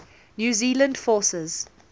new zealand forces